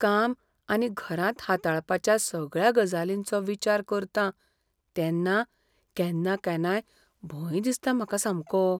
काम आनी घरांत हाताळपाच्या सगळ्या गजालींचो विचार करतां तेन्ना केन्ना केन्नाय भंय दिसता म्हाका सामको.